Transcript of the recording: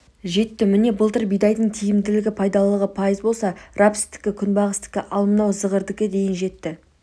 жетті міне былтыр бидайдың тиімділігі пайдалылығы пайыз болса рапстікі күнбағыстікі ал мынау зығырдікі дейін жетті